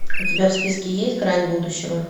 у тебя в списке есть грань будущего